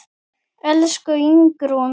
Elsku Ingrún.